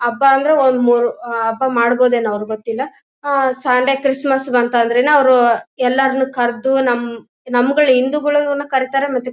ಹಬ್ಬ ಎಂದ್ರೆ ಒಂದು ಮೂರೂ ಹಬ್ಬ ಮಾಡಬೋದೇನೋ ಅವ್ರು ಗೊತ್ತಿಲ್ಲ. ಆ ಸಂಡೆ ಕ್ರಿಸ್ಮಸ್ ಬಂತಂದ್ರೆನೇ ಅವರು ಎಲ್ಲರನು ಕರ್ದು ನಮ್ಮ್ ನಮ್ಗಳು ಹಿಂದುಗಳನ್ನು ಅವರು ಕರೀತಾರೆ ಮತ್ತೆ--